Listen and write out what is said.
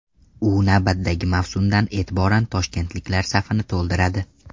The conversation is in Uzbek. U navbatdagi mavsumdan e’tiboran toshkentliklar safini to‘ldiradi.